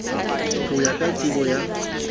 ho ya ka tsebo ya